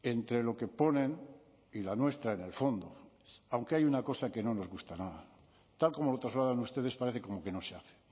entre lo que ponen y la nuestra en el fondo aunque hay una cosa que no nos gusta nada tal como lo trasladan ustedes parece como que no se hace